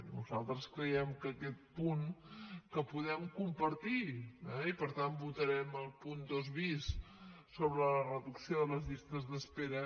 nosaltres creiem que aquest punt que podem compartir eh i per tant votarem el punt dos bis sobre la reducció de les llistes d’espera